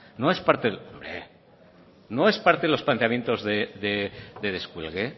hombre no es parte de los planteamientos de descuelgue